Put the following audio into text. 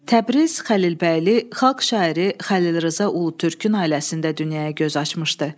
Təbriz Xəlilbəyli xalq şairi Xəlil Rza Ulutürkün ailəsində dünyaya göz açmışdı.